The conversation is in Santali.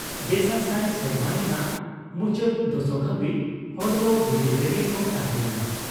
ᱵᱮᱥᱟ ᱥᱟᱭ ᱥᱮᱨᱢᱟ ᱨᱮᱱᱟᱜ ᱢᱩᱪᱟᱹᱫ ᱫᱚᱥᱚᱠ ᱦᱟᱵᱤᱡ ᱦᱚᱲ ᱫᱚ ᱵᱤᱫᱤᱞ ᱨᱮᱜᱮ ᱠᱚ ᱛᱟᱦᱮᱸᱭᱮᱱᱟ ᱾